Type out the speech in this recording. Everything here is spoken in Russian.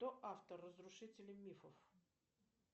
кто автор разрушители мифов